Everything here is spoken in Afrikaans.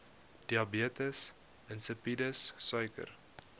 diabetes insipidus suiker